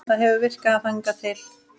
Það hefur virkað hingað til.